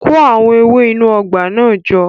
Kó àwọn ewé inú ọgbà náà jọ